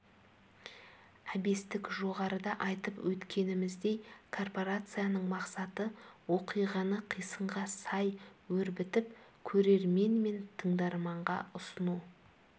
әбестік жоғарыда айтып өткеніміздей корпорацияның мақсаты оқиғаны қисынға сай өрбітіп көрермен мен тыңдарманға ұсыну